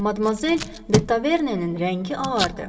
Madmazel De Tavernenin rəngi ağardı.